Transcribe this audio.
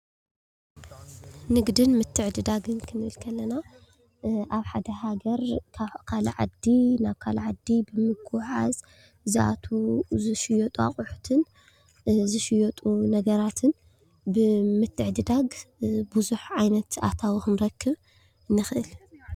ንግድን ምትዕድዳግን ክንብል ከለና ኣብ ሓንቲ ሃገር ካብ ካሊእ ዓዲ ናብ ካሊእ ዓዲ ብምጉዕዓዝ ዝኣትው ዝሽየጡ ኣቅሑትን ዝሽየጡ ነገራትን ብምትዕድዳግ ብዙሕ ዓይነት ኣታዊ ክንረክብ ንኽእል፡፡